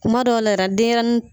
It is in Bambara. Kuma dɔw la yɛrɛ denyɛrɛnin